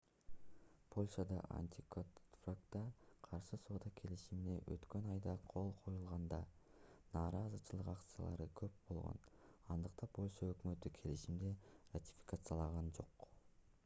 польшада антиконтрафактка каршы соода келишимине өткөн айда кол коюлганда нааразычылык акциялары көп болгон андыктан польша өкмөтү келишимди ратификациялаган жок